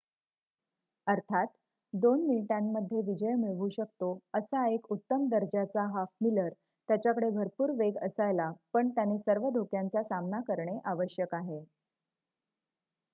अर्थात 2 मिनिटांमध्ये विजय मिळवू शकतो असा एक उत्तम दर्जाचा हाफ-मिलर त्याच्याकडे भरपूर वेग असायला पण त्याने सर्व धोक्यांचा सामना करणे आवश्यक आहे